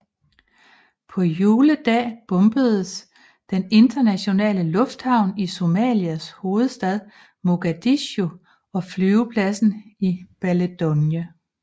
På juledag bombedes den internationale lufthavn i Somalias hovedstad Mogadishu og flyvepladsen i Baledogle